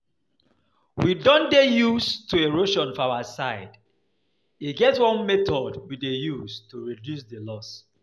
We don dey used to erosion for our side, e get one method we dey use to reduce the loss